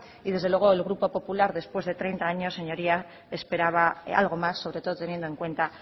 y desde luego el grupo popular después de treinta años señorías esperaba algo más sobre todo teniendo en cuenta